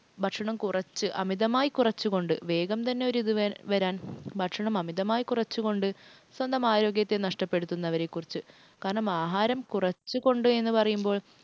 ഭക്ഷണം കുറച്ച് അമിതമായി കുറച്ചുകൊണ്ട് വേഗം തന്നെ ഒരിത് വരാൻ ഭക്ഷണം അമിതമായി കുറച്ചുകൊണ്ട് സ്വന്തം ആരോഗ്യത്തെ നഷ്ടപ്പെടുത്തുന്നവരെക്കുറിച്ച് കാരണം ആഹാരം കുറച്ചു കൊണ്ടുവരിക എന്നുപറയുമ്പോള്‍